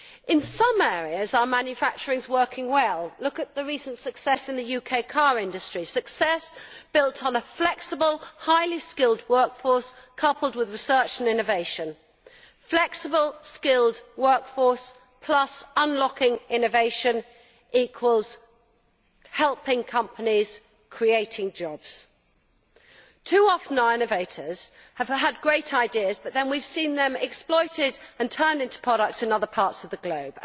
In some areas our manufacturing is working well. Look at the recent success in the UK car industry success built on a flexible, highly skilled workforce, coupled with research and innovation. Having a flexible, skilled workforce plus unlocking innovation equals helping companies to create jobs. Too often our innovators have had great ideas which we have then seen exploited and turned into products in other parts of the globe.